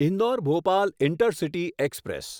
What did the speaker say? Indore Bhopal intercity express